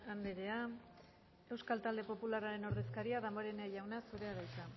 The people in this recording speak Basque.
andrea euskal talde popularraren ordezkaria damborenea jauna zurea da hitza